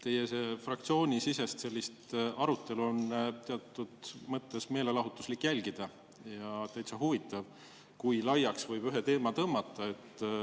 Teie sellist fraktsioonisisest arutelu on teatud mõttes meelelahutuslik jälgida ja täitsa huvitav, kui laiaks võib ühe teema tõmmata.